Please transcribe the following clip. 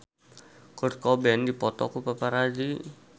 Kurt Cobain dipoto ku paparazi